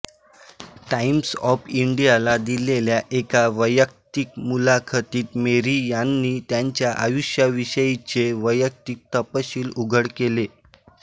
times of इंडियाला दिलेल्या एका वैयक्तिक मुलाखतीत मेरी यांनी त्यांच्या आयुष्याविषयीचे वैयक्तिक तपशील उघड केले